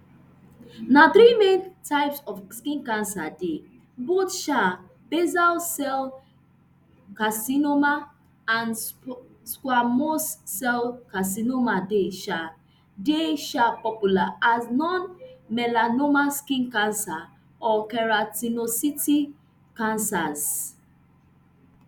na three main types of skin cancer dey both um basal cell carcinoma and squamous cell carcinoma dey um dey um popular as non-melanoma skin cancer or keratinocyte cancers